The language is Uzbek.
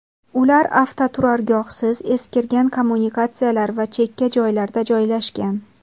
Ular avtoturargohsiz, eskirgan kommunikatsiyalar va chekka joylarda joylashgan.